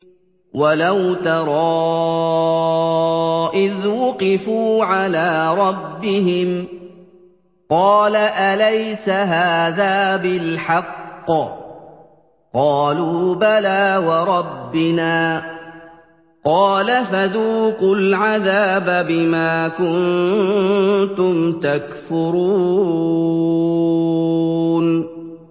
وَلَوْ تَرَىٰ إِذْ وُقِفُوا عَلَىٰ رَبِّهِمْ ۚ قَالَ أَلَيْسَ هَٰذَا بِالْحَقِّ ۚ قَالُوا بَلَىٰ وَرَبِّنَا ۚ قَالَ فَذُوقُوا الْعَذَابَ بِمَا كُنتُمْ تَكْفُرُونَ